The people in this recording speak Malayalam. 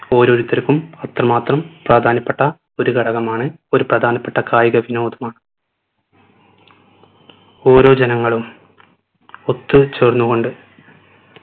ഓരോരുത്തർക്കും അത്രമാത്രം പ്രാധാന്യപ്പെട്ട ഒരു ഘടകമാണ് ഒരു പ്രധാനപ്പെട്ട കായിക വിനോദമാണ് ഓരോ ജനങ്ങളും ഒത്ത് ചേർന്നുകൊണ്ട്